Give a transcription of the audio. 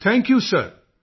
thank you ਸਿਰ